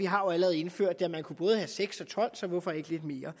har jo allerede indført det og man kunne både have seks og tolv så hvorfor ikke lidt mere